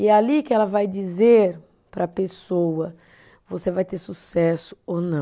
E é ali que ela vai dizer para a pessoa, você vai ter sucesso ou não.